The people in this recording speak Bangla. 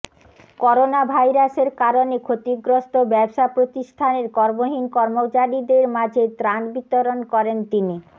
করোনাভাইরাসের কারণে ক্ষতিগ্রস্ত ব্যবসা প্রতিষ্ঠানের কর্মহীন কর্মচারীদের মাঝে ত্রাণ বিতরণ করেন তিনি